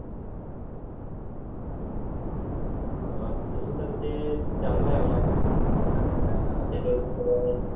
अह तसं तर ते ते चांगलं आहे म्हणा त्याच्यावरून सगळं काही